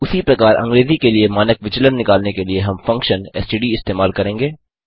उसी प्रकार अंग्रेजी के लिए मानक विचलन निकालने के लिए हम फंक्शन एसटीडी इस्तेमाल करेंगे